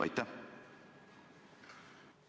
Aitäh!